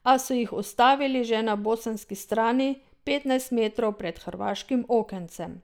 A so jih ustavili že na bosanski strani, petnajst metrov pred hrvaškim okencem.